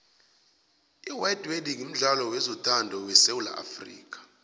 iwwhite wedding mdlalo wezothando wesuwula afxica